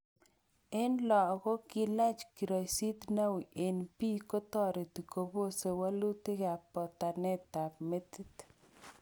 En logok, kilach kiroisit neui en bii kotoreti kobose wolutikab botanetab metit